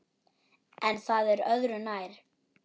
En það er öðru nær.